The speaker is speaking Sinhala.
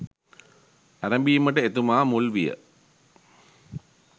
ඇරැඹීමට එතුමා මුල් විය.